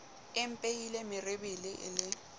e mpehile merebele e le